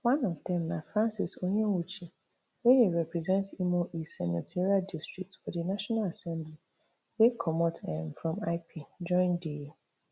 one of dem na francis onyewuchi wey dey represent imo east senatorial district for di national assembly wey comot um from lp join di